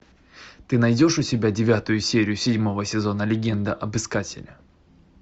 ты найдешь у себя девятую серию седьмого сезона легенда об искателе